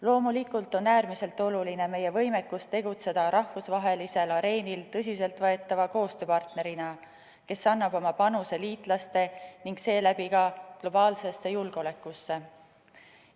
Loomulikult on äärmiselt oluline meie võimekus tegutseda rahvusvahelisel areenil tõsiseltvõetava koostööpartnerina, kes annab oma panuse liitlaste ja seeläbi ka globaalsesse julgeolekusse.